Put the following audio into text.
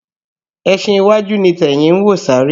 Ẹsin iwájú ni tẹ̀yìn ń wò sáré